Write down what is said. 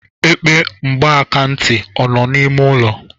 Epe mgbakantị ọ nọ n'ime ụlọ gị?